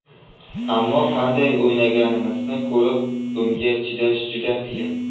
Ammo qanday o‘ynaganimizni ko‘rib, bunga chidash juda qiyin”.